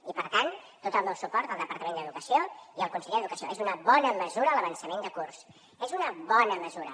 i per tant tot el meu suport al departament d’educació i al conseller d’educació és una bona mesura l’avançament de curs és una bona mesura